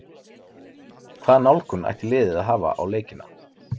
Hvaða nálgun ætti liðið að hafa á leikina?